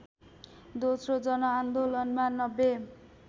दोस्रो जनआन्दोलनमा ९०